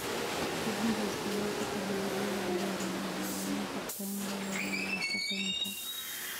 Kordhinta isticmaalka teknolojiyada cagaaran waxay caawin kartaa in la yareeyo wasakheynta.